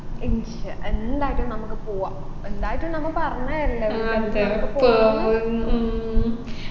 ഇൻശാ എന്തായിട്ടും നമ്മുക്ക് പോവാ എന്തായിട്ടും നമ്മ പറഞ്ഞേല്ലേ നമ്മുക്ക് പോവാന്നു